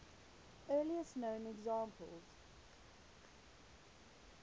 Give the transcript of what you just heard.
earliest known examples